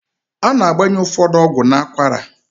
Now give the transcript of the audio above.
A na-agbanye ụfọdụ ọgwụ n'akwara.